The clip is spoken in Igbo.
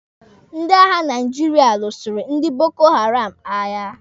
Ndị agha Naijiria lụsịrị ndi Boko Haram agha.